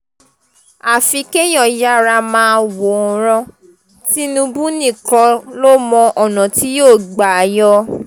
àfi kéèyàn yáa máa wòran tìǹbù nìkan ló mọ ọ̀nà tí yóò gbà yọ